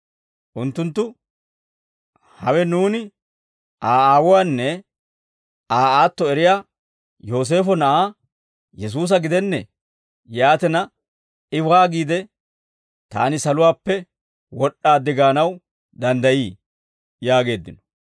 Unttunttu, «Hawe nuuni Aa aawuwaanne Aa aatto eriyaa Yooseefo na'aa Yesuusa gidennee? Yaatina, I waagiide, ‹Taani saluwaappe wod'd'aaddi› gaanaw danddayii?» yaageeddino.